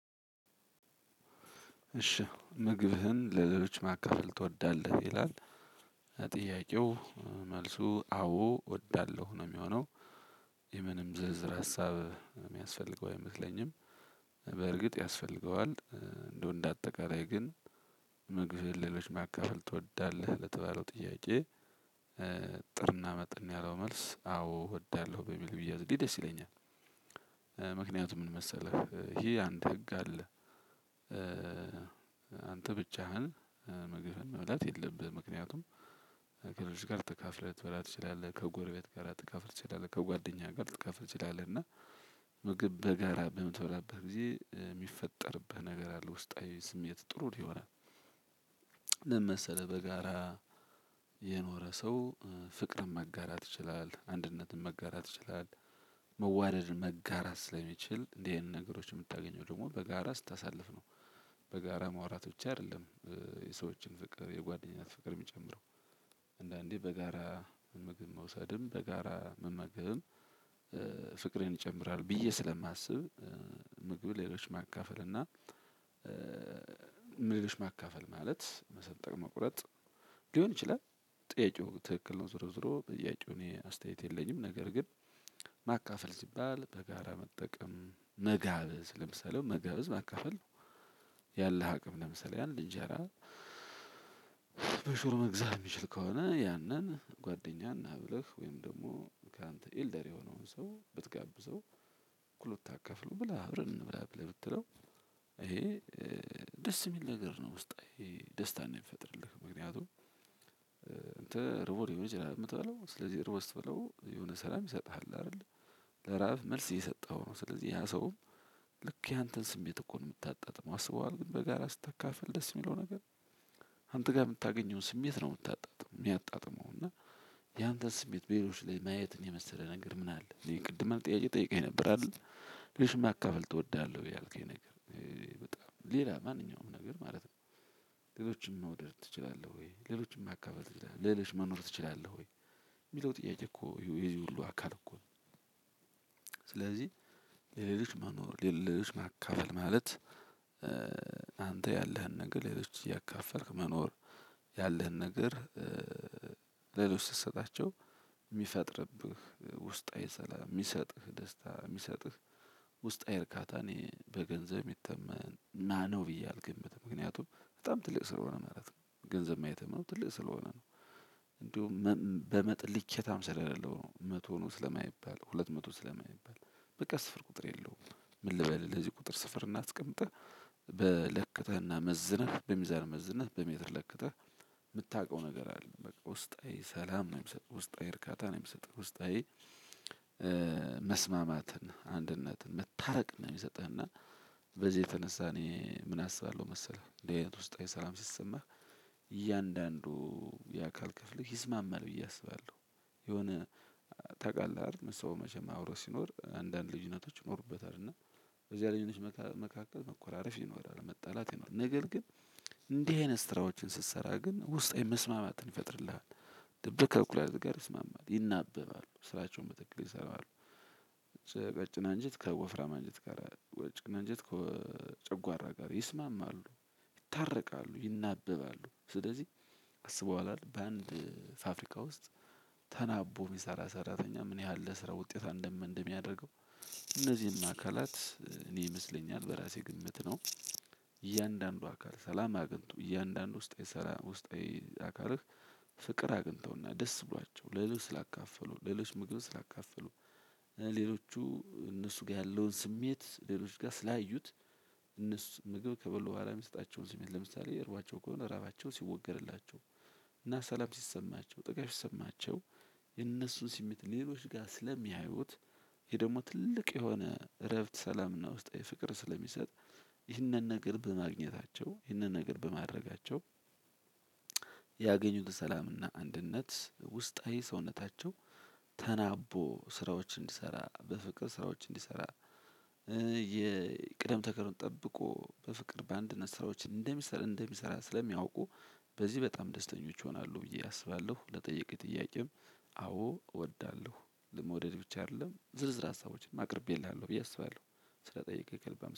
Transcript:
እሺ ምግብህን ለሌሎች ማካፈል ትወዳለህ ይላል ጥያቄው መልሱ አዎ እወዳለሁ ነው የሚሆነው። የምንም ዝርዝር ሀሳብ የሚያስፈልገው አይመስለኝም። በእርግጥ ያስፈልገዋል። እንደው እንደ አጠቃላይ ግን ምግብ ሌሎች ማካፈል ትወዳለህ ለተባለው ጥያቄ? እጥርና ምጥን ያለው መልስ አዎ እወዳለሁ በሚል ቢያዝልኝ ደስ ይለኛል። ምክንያቱም ምን መሰለህ ይሄ አንድ ህግ አለ። አንተ ብቻህን ምግብህን መብላት የለብህም። ምክንያቱም ከሌሎች ጋር ተካፍለህ ልትበላ ትችላለህ ከጎረቤት ጋር ልትካፈል ትችላለህ ከጓደኛ ጋር ልትካፈል ትችላለህ እና። ምግብ በጋራ በምትበላበት ጊዜ የሚፈጠርብህ ነገር አለ ውስጣዊ ስሜት ጥሩ የሆነ። ምን መሰለህ በጋራ የኖረ ሰው ፍቅርን መጋራት ይችላል አንድነትን መጋራት ይችላል። መዋደድ መጋራት ስለሚችል እንዲህ አይነት ነገሮች የምታገኘው ደግሞ በጋራ ስታሳልፍ ነው። በጋራ ማውራት ብቻ አይደለም። የሰዎችን ፍቅር የጓደኛት ፍቅር የሚጨምረው። አንዳንዴ በጋራ ምግብ መውሰድም በጋራ መመገብም ፍቅርን ይጨምራል ብዬ ስለማስብ። ምግብ ሌሎች ማካፈል እና ሌሎች ማካፈል ማለት መሰንጠቅ መቁረጥ ሊሆን ይችላል። ጥያቄው ትክክል ነው ዙሮ ዙሮ በጥያቄው እኔ አስተያየት የለኝም። ነገር ግን ማካፈል ሲባል በጋራ መጠቀም መጋበዝ ለምሳሌ መጋበዝ ማካፈል ነው። ያለህ አቅም ለምሳሌ አንድ እንጀራ በሽሮ መግዛት የሚችል ከሆነ ያንን ጓደኛ ናብለህ ወይም ደግሞ ካንተ ኤልደር የሆነውን ሰው ብትጋብዘው። እኩል ብታካፍለው ብላ አብረን እንብላ ብለህ ብትለው ይሄ ደስ የሚል ነገር ነው። ውስጣዊ ደስታን ነው የሚፈጥርልህ ምክንያቱም። እንተ ርቦህ ሊሆን ይችላል የምትባለው ስለዚህ ርቦህ ስትበላው የሆነ ሰላም ይሰጥሃል አይደል? ለራብ መልስ እየሰጠኧው ነው። ስለዚህ ያ ሰውም ልክ ያንተን ስሜት እኮ ነው የምታጣጥመው አስበዋል ግን በጋራ ስትካፈል ደስ የሚለው ነገር። አንተ ጋር የምታገኘውን ስሜት ነው የምታጣጥመው የሚያጣጥመው እና። ያንተ ስሜት በሌሎች ላይ ማየትን የመሰለ ነገር ምን አለ ይሄን ቅድም አንድ ጭያቄ ጠይቀኝ ነበር አይደል? ልጅ ማካፈል እወዳለሁ ያልከኝ ነገር በጣም ሌላ ማንኛውም ነገር ማለት ነው። ሌሎችን መውደድ ትችላለህ ወይ ሌሎችን ማካፈል ትችላለህ ለሌሎች መኖር ትችላለህ ወይ? የሚለው ጥያቄ እኮ የዚህ ሁሉ አካል እኮ ነው። ስለዚህ ለሌሎች መኖር ለሌሎች ማካፈል ማለት አንተ ያለህን ነገር ለሌሎች እያካፈልክ መኖር። ያለህን ነገር ለሌሎች ስትሰጣቸው የሚፈጥርብህ ውስጣዊ ሰላም የሚሰጥህ ደስታ የሚሰጥህ ውስጣዊ እርካታ እኔ በገንዘብ ይተመን ና ነው ብዬ አልገምትም ምክንያቱም። በጣም ትልቅ ስለሆነ ማለት ነው ነው ገንዘብ ማየት ነው ትልቅ ስለሆነ ነው። እንደውም በመጠን ልኬታም ስለሌለው ነው መቶ ነው ስለማይባል ሁለት መቶ ስለማይባል በቃ ስፍር ቁጥር የለውም። ምን ልበልህ ለዚህ ቁጥር ስፍር እናስቀምጠህ በለክተህና መዝነህ በሚዛን መዝነህ በሜትር ለክተህ የምታውቀው ነገር አይደለም። በቃ ውስጣዊ ሰላም ነው የሚሰጠህ ውስጣዊ እርካታ ነው የሚሰጠህ ውስጣዊ። መስማማትን አንድነትን መታረቅ ነው የሚሰጥህና በዚህ የተነሳ እኔ ምን አስባለሁ መሰለህ እንደዚህ አይነት ውስጣዊ ሰላም ሲሰማህ። እያንዳንዱ የአካል ክፍልህ ይስማማል ብዬ አስባለሁ። የሆነ ታቀለህ አይደል? ሰው መቼም አብሮ ሲኖር አንዳንድ ልጅነቶች ይኖሩበታል። እና በዚያ ልጅ መካከል መኮራረፍ ይኖራል መጣላት ይኖራል ነገር ግን እንዲህ አይነት ስራዎችን ስትሰራ ግን ውስጣዊ መስማማትን ይፈጥርልሃል። ልብህ ከኩላሊትህ ጋር ይስማማል ይናበባሉ ስራቸውን በትክክል ይሰራሉ። ቀጭን አንጀት ከወፍራም አንጀት ጋር ቀጭን አንጀት ከጨጓራ ጋር ይስማማሉ። ይታረቃሉ ይናበባሉ ስለዚህ አስበኧዋል አይደል በአንድ ፋብሪካ ውስጥ ተናቦ የሚሰራ ሰራተኛ ምን ያህል ለስራ ውጤታማ እንደሚያደርገው? እነዚህን አካላት እኔ ይመስለኛል በራሴ ግምት ነው። እያንዳንዱ አካል ሰላም አግኝቶ እያንዳንዱ ውስጥ ውስጣዊ አካልህ ፍቅር አግኝተውና ደስ ብሏቸው ለሌሎች ስላካፈሉ ለሌሎች ምግብን ስላካፈሉ። ሌሎቹ እነሱ ጋር ያለውን ስሜት ሌሎች ጋር ስላዩት። እነሱ ምግብ ከበሉ በኋላ የሚሰጣቸውን ስሜት ለምሳሌ እርቧቸው ከሆነ እራባቸው ሲወገድላቸው። እና ሰላም ሲሰማቸው ጥጋብ ሲሰማቸው። የነሱን ሰሜት ሌሎች ጋር ስለሚያዩት። ይሄ ደግሞ ትልቅ የሆነ እረፍት ሰላምና ውስጣዊ ፍቅር ስለሚሰጥ። ይህንን ነገር በማግኘታቸው ይህንን ነገር በማድረጋቸው። ያገኙት ሰላምና አንድነት ውስጣዊ ሰውነታቸው ተናቦ ስራዎች እንዲሰራ በፍቅር ስራዎች እንዲሰራ። የቅደም ተከተሉን ጠብቆ በፍቅር በአንድነት ስራዎችን እንደሚሰራ እንደሚሰራ ስለሚያውቁ በዚህ በጣም ደስተኞች ይሆናሉ ብዬ አስባለሁ። ለጠየከኝ ጥያቄም አዎ እወዳለሁ ለመውደድ ብቻ አይደለም ዝርዝር ሀሳቦችን አቅርቤልሃለሁ ብዬ አስባለሁ። ስለጠየቀኝ ከልብ